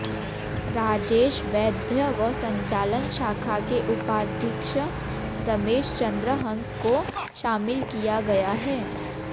राजेश वैद्य व संचालन शाखा के उपाधीक्षक रमेश चन्द्र हंस को शामिल किया गया है